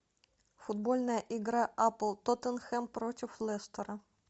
футбольная игра апл тоттенхэм против лестера